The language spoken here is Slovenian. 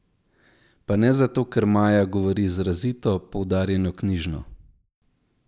Pa ne zato, ker Maja govori izrazito, poudarjeno knjižno.